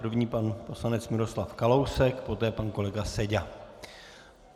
První pan poslanec Miroslav Kalousek, poté pan kolega Seďa.